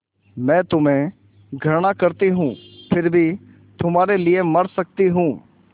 मैं तुम्हें घृणा करती हूँ फिर भी तुम्हारे लिए मर सकती हूँ